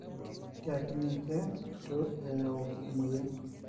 tiaki ninche etu eyau emoyian.